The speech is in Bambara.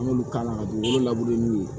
An b'olu k'a la ka dugukolo labure n'u ye